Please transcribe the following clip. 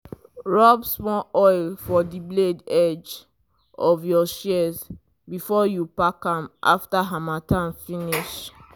rub small oil for the blade edge of your shears before you pack am after harmattan finish.